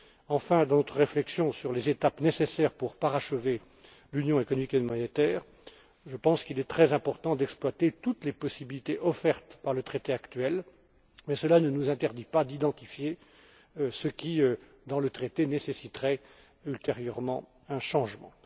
Enfin, dans notre réflexion sur les étapes nécessaires pour parachever l'union économique et monétaire, je pense qu'il est très important d'exploiter toutes les possibilités offertes par le traité actuel, mais cela ne nous interdit pas d'identifier ce qui, dans le traité, nécessiterait ultérieurement un changement.